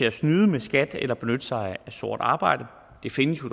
at snyde med skat eller benytte sig af sort arbejde det findes jo